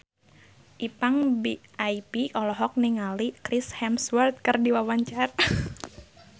Ipank BIP olohok ningali Chris Hemsworth keur diwawancara